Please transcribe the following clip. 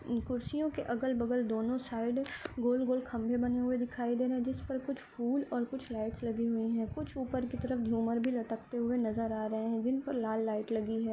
इन कुर्सियों के अगल-बगल दोनों साइड गोल-गोल खंभे बने हुए दिखाई दे रहे हैं जिस पर कुछ फूल और कुछ लाइट्स लगी हुई हैं कुछ ऊपर की तरफ झूमर भी लटकते हुए भी नजर आ रहे है जिन पर लाल लाइट लगी हैं।